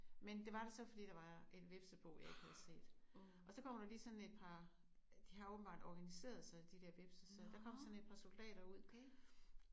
Men det var der så fordi der var et hvepsebo jeg ikke havde set og så kommer der lige sådan et par de har åbenbart organiseret sig de der hvepse så der kom sådan et par soldater ud